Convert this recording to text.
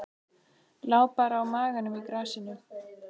Lá bara á maganum í grasinu.